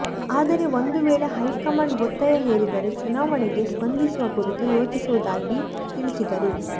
ಆದರೆ ಒಂದು ವೇಳೆ ಹೈಕಮಾಂಡ್ ಒತ್ತಾಯ ಹೇರಿದರೆ ಚುನಾವಣೆಗೆ ಸ್ಪರ್ಧಿಸುವ ಕುರಿತು ಯೋಚಿಸುವುದಾಗಿ ತಿಳಿಸಿದರು